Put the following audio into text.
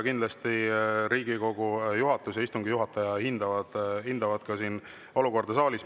Kindlasti Riigikogu juhatus ja istungi juhatajad hindavad ka olukorda saalis.